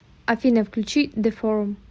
афина включи дэформ